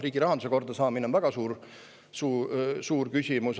Riigirahanduse korda saamine on väga suur küsimus.